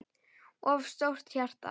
of stórt hjarta